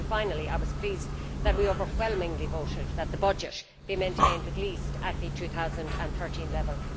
Finally, I was pleased that we overwhelmingly voted that the budget be maintained at least at the 2013 level.